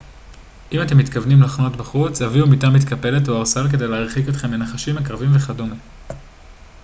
אם אתם מתכוונים לחנות בחוץ הביאו מיטה מתקפלת או ערסל כדי להרחיק אתכם מנחשים עקרבים וכדומה